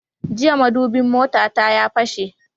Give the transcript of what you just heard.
Jiya madubin motata ya fashe